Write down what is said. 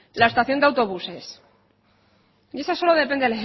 la estación de autobuses y esa solo depende